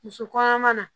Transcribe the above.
Muso kɔnɔma na